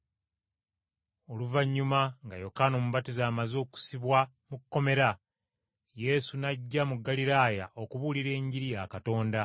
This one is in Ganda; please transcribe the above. Oluvannyuma nga Yokaana Omubatiza amaze okusibwa mu kkomera, Yesu n’ajja mu Ggaliraaya okubuulira Enjiri ya Katonda,